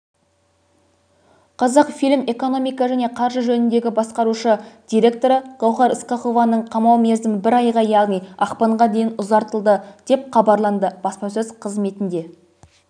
қазақфильм экономика және қаржы жөніндегі басқарушы директоры гауһар ысқақованың қамау мерзімі бір айға яғни ақпанға дейін ұзартылды хабарланды баспасөз қызметінде